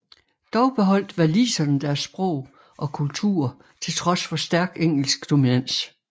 Dog beholdt waliserne deres sprog og kultur til trods for stærk engelsk dominans